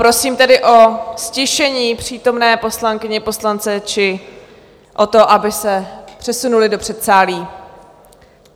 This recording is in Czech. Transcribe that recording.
Prosím tedy o ztišení přítomné poslankyně, poslance, či o to, aby se přesunuli do předsálí.